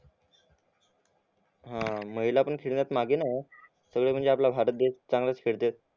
हा महिला पण खेळण्यात मागे नाय हा सगळे म्हणजे आपला महारात देश चांगलाच खेळताय